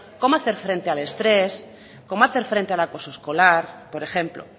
cómo hacer frente al estrés como hacer frente al acoso escolar por ejemplo